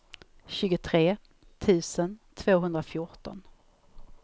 tjugotre tusen tvåhundrafjorton